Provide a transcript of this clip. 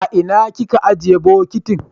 aina kika ajiye bokitin?